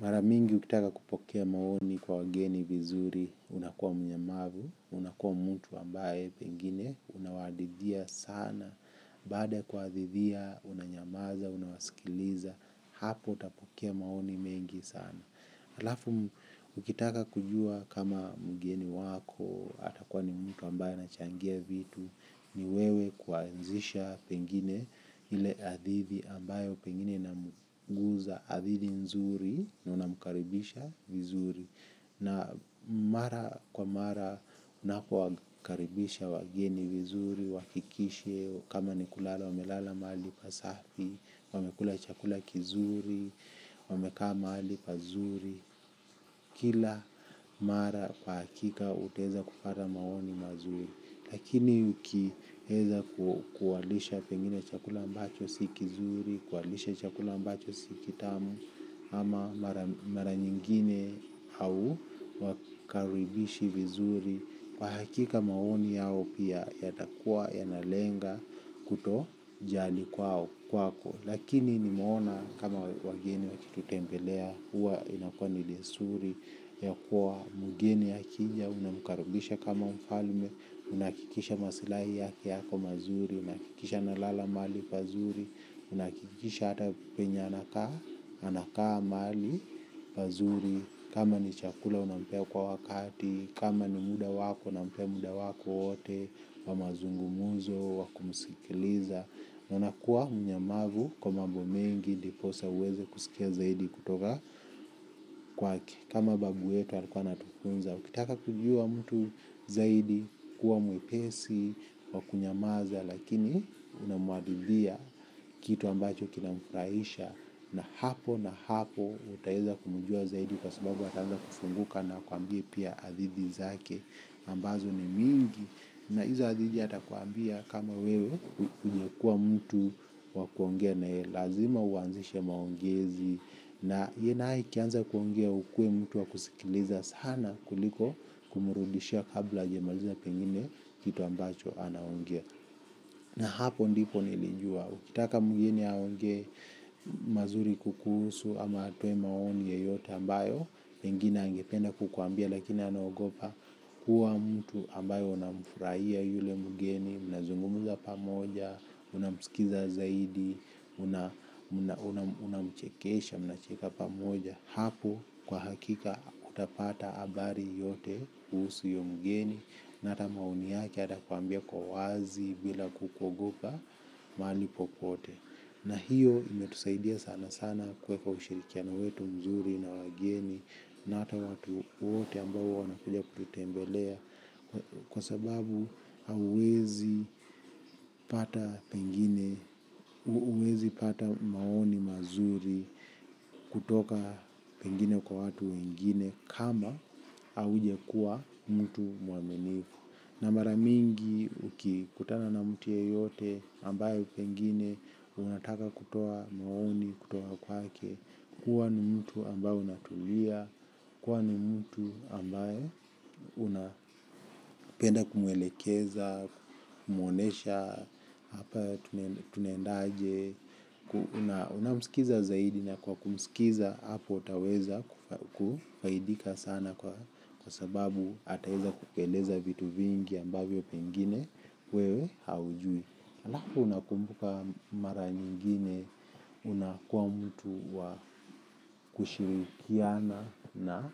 Maramingi ukitaka kupokea maoni kwa wageni vizuri, unakuwa mnyamavu, unakuwa mtu ambaye pengine, unawadidhia sana, baada ya kuadhidia, unanyamaza, unawaskiliza, hapo utapokea maoni mengi sana. Alafu, ukitaka kujua kama mgeni wako, atakuwa ni mtu ambaye anachangia vitu, ni wewe kuanzisha pengine ile hadidhi ambayo pengine inamguza adhidi nzuri na unamukaribisha vizuri. Na mara kwa mara unapo wakaribisha wageni vizuri, uakikishe kama ni kulala, wamelala mahali pasafi, wamekula chakula kizuri, wamekaa mahali pazuri. Kila mara kwa hakika utaeza kupata maoni mazuri. Lakini ukieza kuwalisha pengine chakula ambacho si kizuri kuwalisha chakula ambacho si kitamu ama mara nyingine hau wakaribishi vizuri. Kwa hakika maoni yao pia yatakua yanalenga kuto jali kwao kwako. Lakini nimeona kama wageni wakitutembelea. Huwa inakua ni desturi ya kuwa mugeni akija, unamukaribisha kama mfalme, unahakikisha masilahi yake yako mazuri, unahakikisha analala mahali pazuri, unahakikisha hata penye anakaa, anakaa maali pazuri. Kama ni chakula unampea kwa wakati kama ni muda wako unampea muda wako wote. Wa mazungumuzo, wa kumusikiliza. Na unakuwa mnyamavu kwa mambo mengi ndiposa uweze kusikia zaidi kutoka kwake. Kama babu yetu alikuwa anatufunza ukitaka kujua mtu zaidi kuwa mwepesi wa kunyamaza lakini unamuadidhia. Kitu ambacho kinamufraisha. Na hapo na hapo utaeza kumujua zaidi kwa sababu ataanza kufunguka na akuambie pia adidhi zake ambazo ni mingi na hizo adhidi atakuambia kama wewe unyekua mtu wabkuongea na yeye lazima uanzishe maongezi na yeye nae ikianza kuongea ukue mtu wakusikiliza sana kuliko kumurudishia kabla ajmaliza pengine kitu ambacho anaongea. Na hapo ndipo nilijua ukitaka mgeni aongee mazuri kukuhusu ama atoe maoni yoyote ambayo pengine angependa kukuambia lakini anaogopa kuwa mtu ambaye unamufraia yule mgeni unazungumuza pamoja unamsikiza zaidi unamchekesha unacheka pamoja hapo kwa hakika utapata abari yote kuhusu uyo mgeni na hata maoni yake atakuambia kwa uwazi bila kukuogopa maali popote na hiyo imetusaidia sana sana kueka ushirikiana wetu mzuri na wageni na ata watu wote ambao wanakuja kututembelea kwa sababu hauezi pata pengine uwezi pata maoni mazuri kutoka pengine kwa watu wengine kama aujakua mtu muaminifu na maramingi uki kutana na mtu yeyote ambayo pengine unataka kutoa maoni kutoka kwake kuwa ni mtu ambao unatulia. Kuwa ni mtu ambaye unapenda kumwelekeza, kumuonesha, tunaendaje, unamsikiza zaidi na kwa kumsikiza hapo utaweza kufaidika sana kwa sababu ataeza kukueleza vitu vingi ambavyo pengine wewe haujui. Halafu unakumbuka mara nyingine unakuwa mtu wa kushirikiana na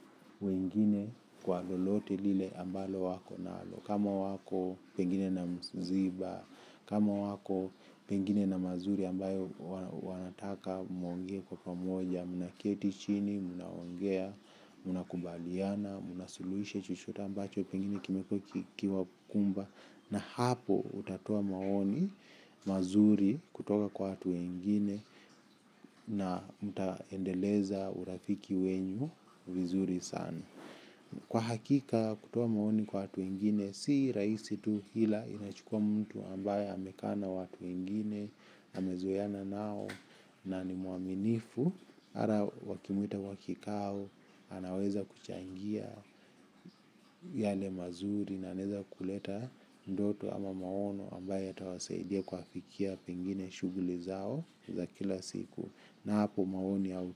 wengine kwa lolote lile ambalo wako nalo. Kama wako pengine na mziba, kama wako pengine na mazuri ambayo wanataka muongee kwa pamoja, mnaketi chini, mnaongea, mnakubaliana, mnasuluisha chochote ambacho pengine kime wakumba. Na hapo utatoa maoni mazuri kutoka kwa watu wengine na mtaendeleza urafiki wenyu vizuri sana. Kwa hakika kutoa maoni kwa watu wengine si raisi tu ila inachukua mtu ambaye amekaa na watu wengine, amezoeana nao na nimuaminifu ara wakimuita wakikaa au anaweza kuchangia yale mazuri na anaeza kuleta ndoto ama maono ambaye yatawasaidia kuafikia pengine shuguli zao za kila siku. Na hapo maoni au.